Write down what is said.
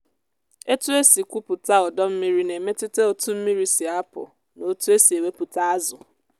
etu e si kwụpụta ọdọ mmiri na-emetụta otu mmiri si apụ na otú e si ewepụta azụ.